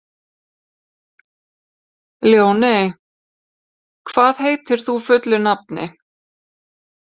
Ljóney, hvað heitir þú fullu nafni?